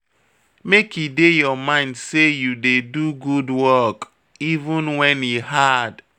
Make e dey your mind sey you dey do good work, even wen e hard.